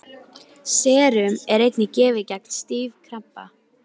Serum er einnig gefið gegn stífkrampa.